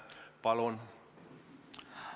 Palun!